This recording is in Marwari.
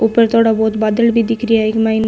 ऊपर थोड़ा बहुत बादल भी दिखरा इ के मायने।